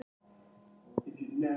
Tíu mínútur?